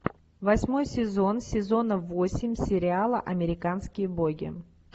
восьмой сезон сезона восемь сериала американские боги